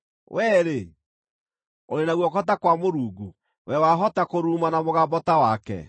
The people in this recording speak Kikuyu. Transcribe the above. Wee-rĩ, ũrĩ na guoko ta kwa Mũrungu? Wee wahota kũruruma na mũgambo ta wake?